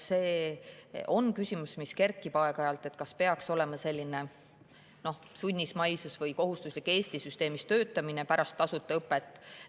See küsimus aeg-ajalt kerkib, kas peaks olema selline, noh, sunnismaisus või kohustuslik Eesti süsteemis töötamine pärast tasuta õpet.